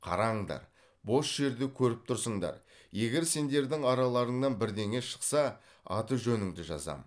қараңдар бос жерді көріп тұрсыңдар егер сендердің араларыңнан бірдеңе шықса аты жөніңді жазам